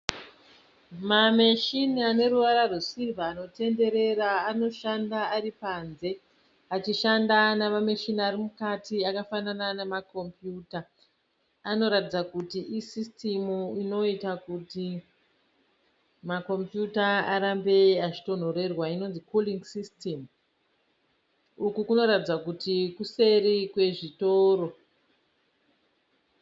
Mameshini ane ruvara rwesirivha anotenderera anoshanda ari panze achishanda namameshini ari mukati akafanana namakumbiyuta anoratidza kuti isisitimu inoita kuti makombiyuta arambe achitonhorerwa inonzi kuringi sisitimu uku kunoratidza kuti kuseri kwezvitoro.